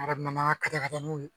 ka da ka taa n'o ye